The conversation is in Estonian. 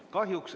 Aitäh!